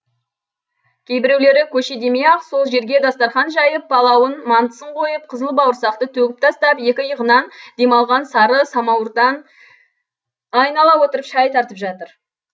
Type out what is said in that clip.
кейбіреулері көше демей ақ сол жерге дастарқан жайып палауын мантысын қойып қызыл бауырсақты төгіп тастап екі иығынан демалған сары самауырдан айнала отырып шай тартып жатыр